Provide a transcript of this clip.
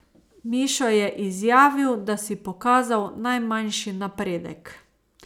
Mišo je izjavil, da si pokazal najmanjši napredek.